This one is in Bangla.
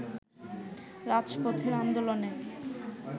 রাজপথের আন্দোলনে